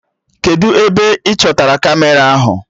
Kedụ ebe ị chọtara Kamera ahụ?